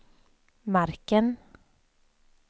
marken